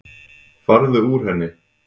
Farðu úr henni.